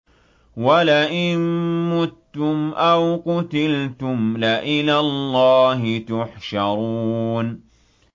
وَلَئِن مُّتُّمْ أَوْ قُتِلْتُمْ لَإِلَى اللَّهِ تُحْشَرُونَ